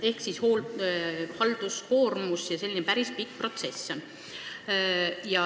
Ehk tekib halduskoormus ja see on selline päris pikk protsess.